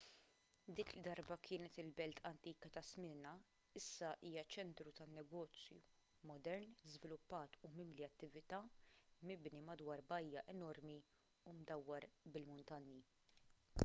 dik li darba kienet il-belt antika ta' smyrna issa hija ċentru tan-negozju modern żviluppat u mimli attività mibni madwar bajja enormi u mdawwar bil-muntanji